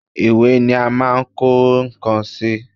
Ìwé ni à máa ń kọ nǹkan sí